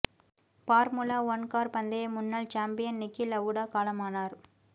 formula one car பந்தய முன்னாள் champion Niki Lauda காலமானார்